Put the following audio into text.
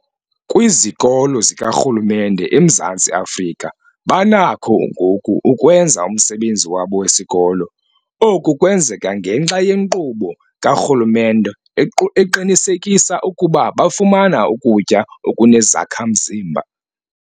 Kwizikolo zikarhulumente eMzantsi Afrika banakho ngoku ukwenza umsebenzi wabo wesikolo. Oku kwenzeka ngenxa yenkqubo karhulumente equ eqinisekisa ukuba bafumana ukutya okunezakha-mzimba.